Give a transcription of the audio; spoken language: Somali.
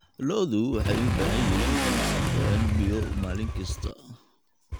Lo'du waxay u baahan yihiin inay cabbaan biyo maalin kasta.